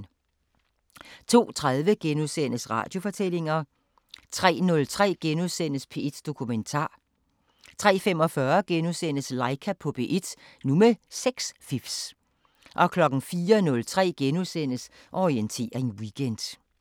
02:30: Radiofortællinger * 03:03: P1 Dokumentar * 03:45: Laika på P1 – nu med sexfifs * 04:03: Orientering Weekend *